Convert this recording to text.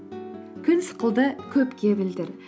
күн сықылды көпке білдір